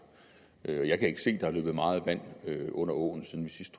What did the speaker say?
jeg kan ikke se der er løbet meget vand i åen siden vi sidst